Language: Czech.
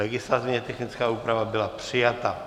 Legislativně technická úprava byla přijata.